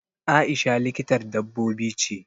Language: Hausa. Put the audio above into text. Aisha likitar dabbobi ce.